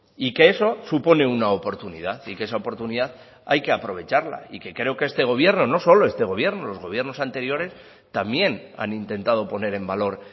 y que eso supone una oportunidad y que esa oportunidad hay que aprovecharla y que creo que este gobierno no solo este gobierno los gobiernos anteriores también han intentado poner en valor